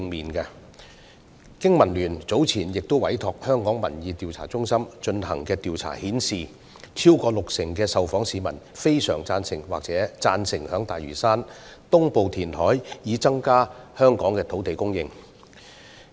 香港經濟民生聯盟早前委託香港民意調查中心進行的調查顯示，超過六成受訪市民非常贊成或贊成在大嶼山東部填海以增加香港的土地供應。